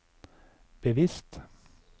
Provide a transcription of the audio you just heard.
bevisst